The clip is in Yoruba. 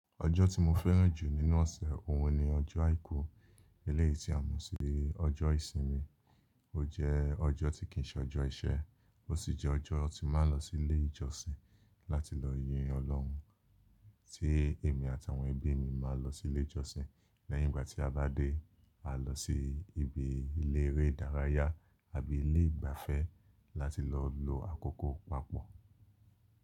Ọjọ́ tí mo fẹ́ràn jù nínú ọ̀sẹ̀ òhun ni ọjọ́ àìkú, eléyìí tí a mọ̀ sí ọjọ́ ìsinmi. Ó jẹ́ ọjọ́ tí kìí ṣe ọjọ́ iṣẹ́, ó sì jẹ́ ọjọ́ tí máa ń lọ sí ilé ìjọsìn láti lọ yin Ọlọ́run, tí èmi àtàwọn ẹbí mi máa lọ sí ilé ìjọsìn. Lẹ́yìn ìgbà tí a bá dé, a lọ sí ibi ilé eré ìdárayá àbí ilé ìgbafẹ́ láti lọ lo àkókò papọ̀.